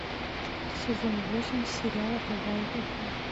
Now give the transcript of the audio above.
сезон восемь сериала бывает и хуже